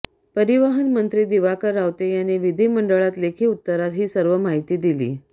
परिवहन मंत्री दिवाकर रावते यांनी विधिमंडळात लेखी उत्तरात ही सर्व माहिती दिली